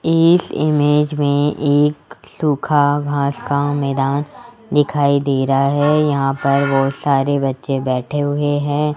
इस इमेज में एक सूखा घास का मैदान दिखाई दे रहा है यहां पर बहोत सारे बच्चे बैठे हुए हैं।